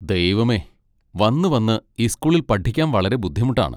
ദൈവമേ, വന്നുവന്ന് ഈ സ്കൂളിൽ പഠിക്കാൻ വളരെ ബുദ്ധിമുട്ടാണ്.